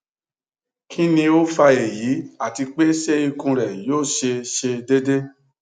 kini o fa eyi ati pe se ikun re yo se se dede